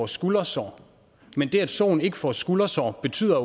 skuldersår men det at soen ikke får skuldersår betyder